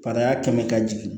Kana kɛ ka jigin